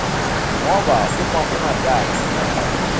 ngoba uma ungatati